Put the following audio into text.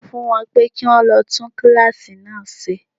Sọ fún wọn pé kí wón lọ tún kíláàsì náà ṣe.